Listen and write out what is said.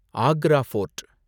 Agra board